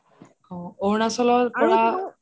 অহ অৰুণাচলৰ পৰা